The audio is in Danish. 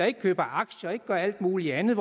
ikke køber aktier eller gør alt mulig andet